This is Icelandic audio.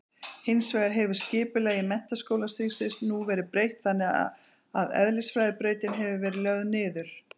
Hins vegar hefur skipulagi menntaskólastigsins nú verið breytt þannig að eðlisfræðibrautin hefur verið lögð niður.